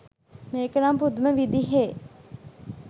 මේක නම් පුදුම විදිහෙ